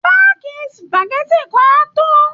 Páàkì spageti kan á tó